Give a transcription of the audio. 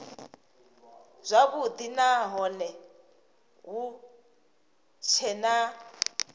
zwavhudi nahone hu tshee na